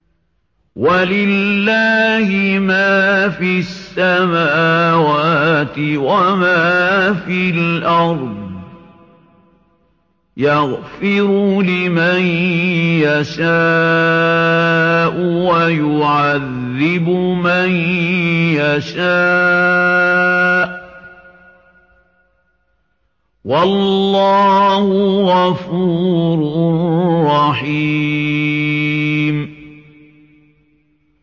وَلِلَّهِ مَا فِي السَّمَاوَاتِ وَمَا فِي الْأَرْضِ ۚ يَغْفِرُ لِمَن يَشَاءُ وَيُعَذِّبُ مَن يَشَاءُ ۚ وَاللَّهُ غَفُورٌ رَّحِيمٌ